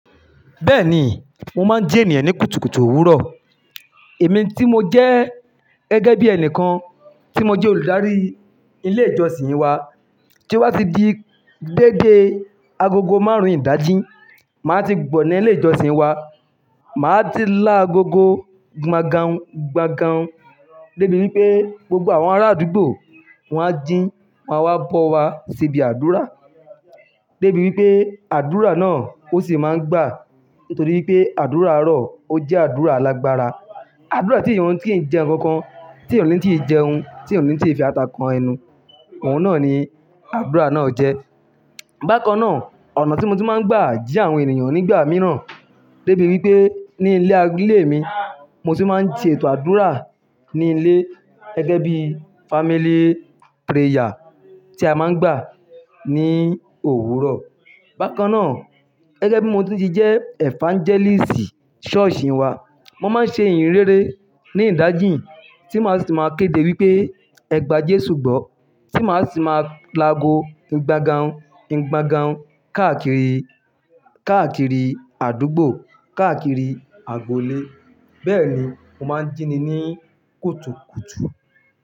Bẹ́ẹ̀ni, mo máa ń jí ènìyàn ní kùtùkùtù òwúrọ̀. Èmi tí mo jẹ́ gẹ́gẹ́ bí ẹni kan tí mo jẹ́ olùdarí ilé ìjọsìn wa, tí ó bá ti di deéde agogo márùn-ún ìdájí, màá ti gbọ̀na ilé ìjọsìn wa. Màá ti lá agogo gbangan un gbangan un débi wípé gbogbo àwọn ará àdúgbò wọ́n á jí, wọn á wá bọ́ wa síbi àdúrà. Débi wípé àdúrà náà ó sì máa ń gbà nítorí pé àdúrà àárọ̀ ó jẹ́ àdúrà alágbára. Àdúrà tí èèyàn ò ti ń jẹ ǹkankan, tí ènìyàn ò ni tíi jẹun, tí ènìyàn ò nì tíi fi ata kan ẹnu, òhun náà ni àdúrà náà jẹ́. Bákan náà, ọ̀nà tí mo tun máa ń gbà jí àwọn ènìyàn nígbà mìíràn deéde wípé ní ilé mi, mo tì máa ń ṣe ètò àdúrà ní ilé gẹ́gẹ́ bí family prayer tí a máa ń gbà ní òwúrọ̀. Bákan náà, gẹ́gẹ́ bí mo ti jẹ́ evangelist ṣọ́ọ̀ṣì wa, mo máa ń ṣe ìyìnrere ní ìdájí tí màá sì máa kéde wípé "Ẹ gbà Jésù gbọ́" tí màá sì máa lago gbangan un gbangan un káàkiri, káàkiri àdúgbò, káàkiri agboolé. Bẹ́ẹ̀ni mo máa ń jíni ní kùtùkùtù.